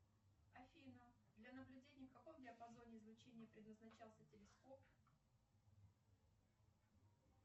афина для наблюдения в каком диапазоне излучения предназначался телескоп